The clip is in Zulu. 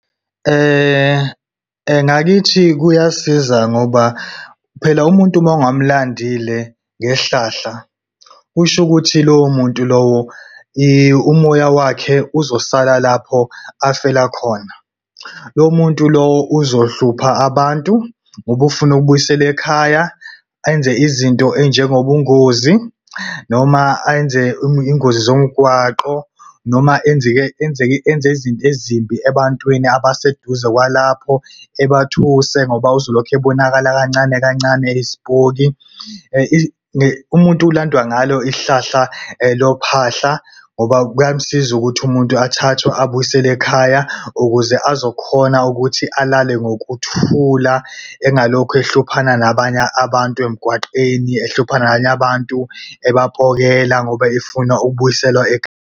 Ngakithi kuyasiza ngoba phela umuntu uma ungamulandile ngehlahla, kusho ukuthi lowo muntu lowo umoya wakhe uzosala lapho afela khona. Lo muntu lo uzohlupha abantu, ngoba ufuna ukubuyiselwa ekhaya. Enze izinto enjengobungozi, noma enze ingozi zomgwaqo, noma enze izinto ezimbi ebantwini abaseduze kwalapho ebathuse ngoba uzolokhu ebonakala kancane kancane eyisipoki. Umuntu ulandwa ngalo ihlahla lophahla ngoba kuyamsiza ukuthi umuntu athathwe abuyiselwe ekhaya ukuze azokhona ukuthi alale ngokuthula, engalokhu ehluphana nabanye abantu emgwaqeni ehlupha nabanye abantu ebapokela ngoba efuna ukubuyiselwa .